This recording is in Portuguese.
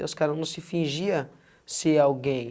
Os caras não se fingia ser alguém.